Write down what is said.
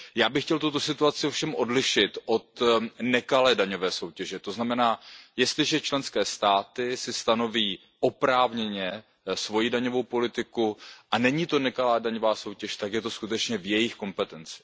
Já bych chtěl tuto situaci ovšem odlišit od nekalé daňové soutěže, to znamená, že jestliže členské státy si stanoví oprávněně svoji daňovou politiku a není to nekalá daňová soutěž, tak je to skutečně v jejich kompetenci.